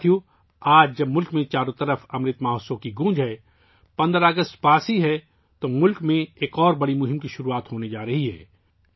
ساتھیو ، آج جب ملک میں چاروں طرف امرت مہوتسو کی گونج ہے ، 15 اگست پاس ہی ہے تو ملک میں ایک اور بڑی مہم کی شروعات ہونے جا رہی ہے